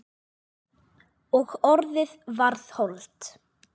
Og orðið varð hold.